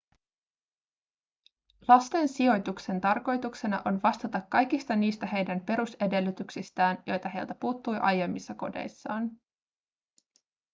lasten sijoituksen tarkoituksena on vastata kaikista niistä heidän perusedellytyksistään joita heiltä puuttui aiemmissa kodeissaan